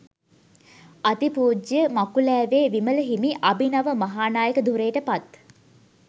අතිපූජ්‍ය මකුලෑවේ විමල හිමි අභිනව මහානායක ධුරයට පත්